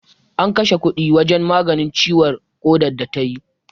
An kashe kuɗi wajen maganin ciwon ƙadar da ta yi.